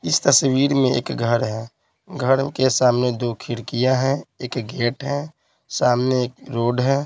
इस तस्वीर में एक घर है घर के सामने दो खिड़कियां हैं एक गेट है सामने एक रोड है।